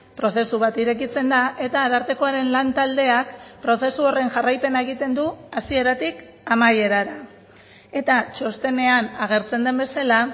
prozesu bat irekitzen da eta arartekoaren lantaldeak prozesu horren jarraipena egiten du hasieratik amaierara eta txostenean agertzen den bezala